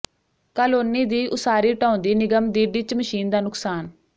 colony ਦੀ ਉਸਾਰੀ ਢਾਹੁੰਦੀ ਨਿਗਮ ਦੀ ਡਿੱਚ ਮਸ਼ੀਨ ਦਾ ਨੁਕਸਾਨ